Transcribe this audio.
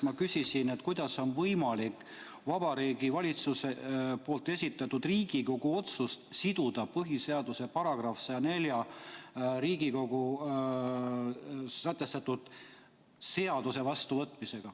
Ma küsisin, kuidas on võimalik Vabariigi Valitsuse poolt esitatud Riigikogu otsust siduda põhiseaduse §-ga 104, mis sätestab Riigikogus seaduste vastuvõtmise.